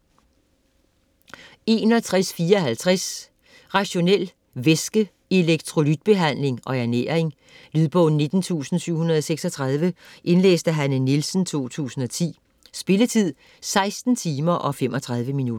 61.54 Rationel væske-, elektrolytbehandling og ernæring Lydbog 19736 Indlæst af Hanne Nielsen, 2010. Spilletid: 16 timer, 35 minutter.